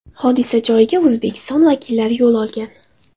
Hodisa joyiga O‘zbekiston vakillari yo‘l olgan .